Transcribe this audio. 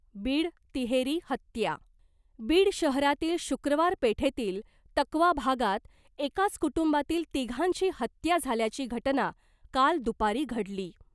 बीड, तिहेरी हत्या, बीड शहरातील शुक्रवार पेठेतील तकवा भागात एकाच कुटूंबातील तिघांची हत्या झाल्याची घटना काल दुपारी घडली .